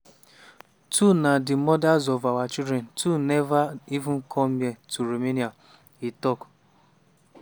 two na di mothers of our children two neva even come here to romania" e tok.